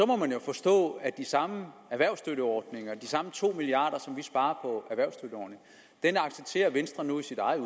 må man jo forstå at de samme erhvervsstøtteordninger at de samme to milliard kr som vi sparer på erhvervsstøtteordninger accepterer venstre nu i sit eget